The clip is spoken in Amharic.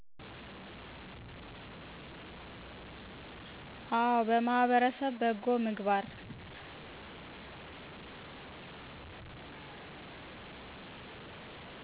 አወ በማህበረሰብ በጎ ምግባር